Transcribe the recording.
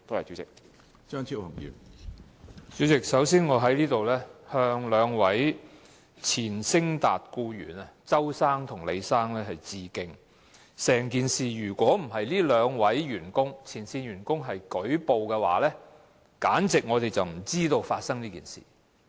主席，首先我要向昇達廢料處理有限公司兩名前僱員鄒先生和李先生致敬，如果不是這兩名前線員工舉報，我們根本不會知道這件事。